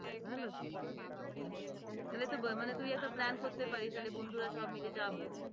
ভালো বেশ তাহলে তো মানে তুই এতো plan করতে পারিস তাহলে বন্ধুরা সবাই মিলে যাবো।